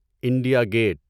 India get